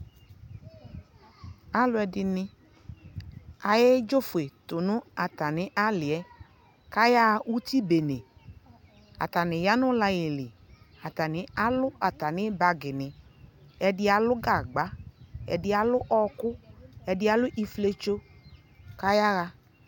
alʋɛdini ayɛ dzɔfuɛ tʋnʋ atani aliɛ kʋ aya ʋtsi bɛnɛ, atani yanʋ line li, atani alʋ atani bagi ni, ɛdi alʋ gagba, ɛdi alʋ ɔkʋ, ɛdi alʋ iƒiɛtɔ kʋ aya